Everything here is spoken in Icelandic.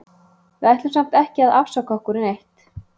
Við ætlum samt ekki að afsaka okkur neitt.